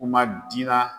Kuma dira